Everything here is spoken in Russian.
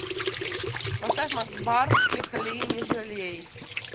поставь макс барских лей не жалей